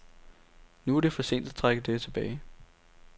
Nu er det for sent at trække det tilbage.